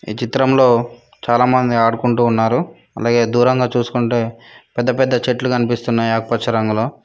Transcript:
ఈ చిత్రంలో చాలా మంది ఆడుకుంటూ ఉన్నారు అలాగేయ్ దూరంగా చూసుకుంటే పెద్ద పెద్ద చెట్లు కనిపిస్తున్నాయ్ ఆకు పచ్చ రంగులో.